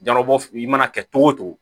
Jarabɔ i mana kɛ cogo o cogo